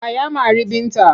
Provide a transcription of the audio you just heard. Wa ya mari Binta?